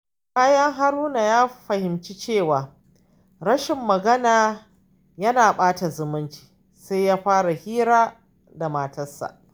Bayan Haruna ya fahimci cewa rashin magana yana ɓata zumunci, sai ya fara hira da matarsa.